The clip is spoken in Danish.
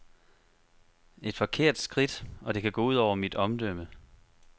Et forkert skridt og det kan gå ud over mitomdømme.